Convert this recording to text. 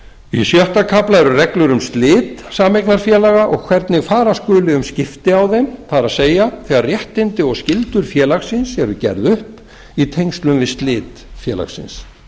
í sjötta kafla eru reglur um slit sameignarfélaga og hvernig fara skuli um skipti á þeim það er þegar réttindi og skyldur félagsins eru gerð upp í tengslum við slit félagsins